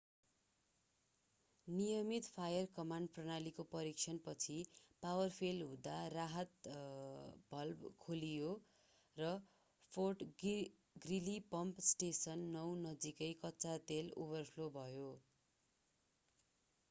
नियमित फायर-कमान्ड प्रणालीको परीक्षणपछि पावर फेल हुँदा राहत भल्भ खोलियो र फोर्ट ग्रीली पम्प स्टेसन 9 नजिकै कच्चा तेल ओभरफ्लो भयो